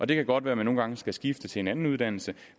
det kan godt være at man nogle gange skal skifte til en anden uddannelse